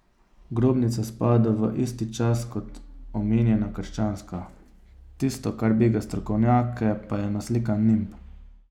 Grobnica spada v isti čas kot omenjena krščanska, tisto, kar bega strokovnjake, pa je naslikan nimb.